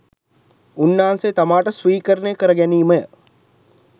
උන්නාන්සේ තමාට ස්වීකරණය කර ගැනීමය.